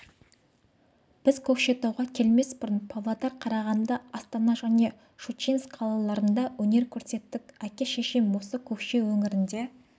біз көкшетауға келмес бұрын павлодар қарағанды астана және щучинск қалаларында өнер көрсеттік әке-шешем осы көкше өңірінде